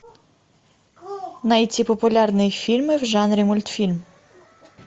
найти популярные фильмы в жанре мультфильм